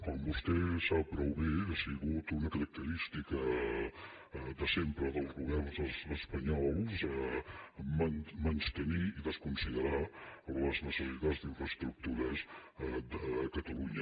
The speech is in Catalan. com vostè sap prou bé ha sigut una característica de sempre dels governs espanyols menystenir i desconsiderar les necessitats d’infraestructures de catalunya